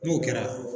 N'o kɛra